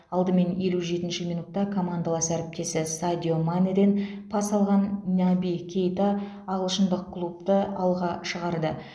алдымен елу жетінші минутта командалас әріптесі садио манеден пас алған наби кейта ағылшындық клубты алға шығарды